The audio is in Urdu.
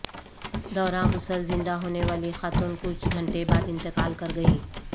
دوران غسل زندہ ہونے والی خاتون کچھ گھنٹے بعد انتقال کر گئیں